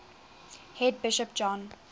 head bishop john